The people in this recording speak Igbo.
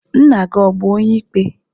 Nna-gi bu onye-ikpe?